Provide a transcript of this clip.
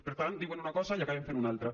per tant diuen una cosa i n’acaben fent una altra